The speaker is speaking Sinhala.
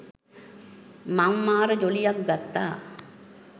මං මාර ජොලියක් ගත්තා.